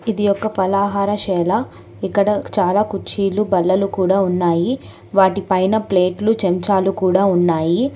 ఇది ఒక ఫలాహార శాల. ఇక్కడ చాలా కుర్చీలు బల్లలు కూడా ఉన్నాయి. వాటిపైన ప్లేట్లు చెంచాలు కూడా ఉన్నాయి.